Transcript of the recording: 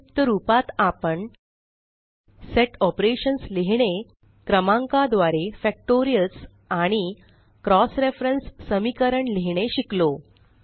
संक्षिप्त रूपात आपण सेट ऑपरेशन्स लिहीणे क्रमांका द्वारे फॅक्टोरियल्स आणि क्रॉस रेफरन्स समीकरण लिहीणे शिकलो